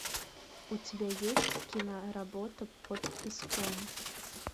у тебя есть киноработа под песком